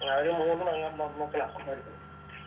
അവനും മൂന്ന് പെങ് പെൺമക്കളാ അവര്